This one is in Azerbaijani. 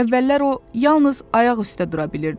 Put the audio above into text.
Əvvəllər o yalnız ayaq üstə dura bilirdi.